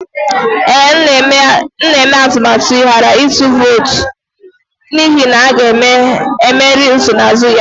Ee, m na-eme atụmatụ ịghara ịtụ vootu n'ihi na a ga-emeri nsonaazụ ya